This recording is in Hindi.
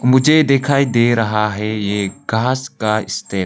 मुझे दिखाई दे रहा है ये एक घास का स्टेप --